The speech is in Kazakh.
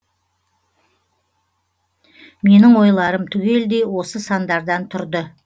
менің ойларым түгелдей осы сандардан тұрды